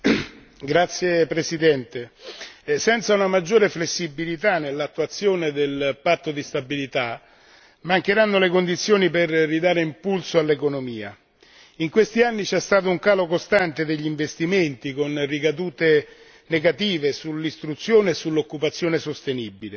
Signor Presidente, onorevoli colleghi, senza una maggiore flessibilità nell'attuazione del patto di stabilità mancheranno le condizioni per ridare impulso all'economia in questi anni c'è stato un calo costante degli investimenti con ricadute negative sull'istruzione e sull'occupazione sostenibile.